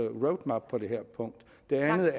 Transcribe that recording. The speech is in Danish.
jeg har været